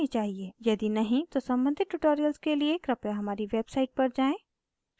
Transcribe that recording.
यदि नहीं तो सम्बंधित tutorials के लिए कृपया हमारी website पर जाएँ